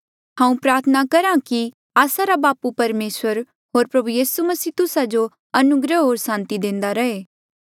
हांऊँ प्रार्थना करहा कि आस्सा रा बापू परमेसर होर प्रभु यीसू मसीह तुस्सा जो अनुग्रह होर सांति देंदा रहे